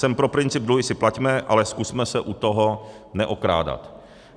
Jsem pro princip dluhy si plaťme, ale zkusme se u toho neokrádat.